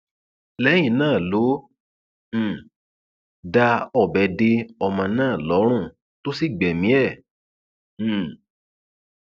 lẹyìn èyí ló um dá ọbẹ de ọmọ náà lọrùn tó sì gbẹmí ẹ um